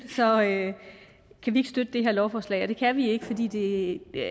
kan vi ikke støtte det her lovforslag og det kan vi ikke fordi det